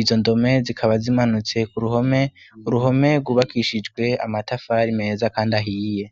ivyo ndome zikaba zimanutse ku ruhome uruhome rwubakishijwe amatafari meza, kandi ahiye.